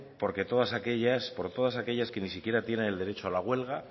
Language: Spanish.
porque todas aquellas por todas aquellas que ni siquiera tiene el derecho a la huelga